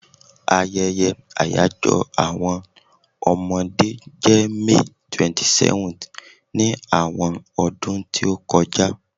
Ayeye àyajo àwọn Omode je May 27th ni àwọn ọdún ti o ti kọja